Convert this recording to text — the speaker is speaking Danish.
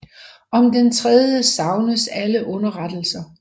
Om den tredje savnes alle underrettelser